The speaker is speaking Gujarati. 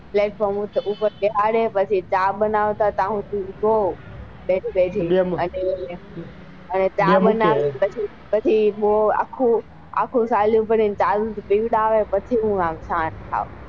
platform ઉપર બેસાડે પછી ચા બનાવતા ત્યાં સુધી તો બેઠે બેઠે પછી ચા બનાવતા બૌ આખું આખું પાલું ભરી ને ચા દૂધ પીવડાવે પછી હું.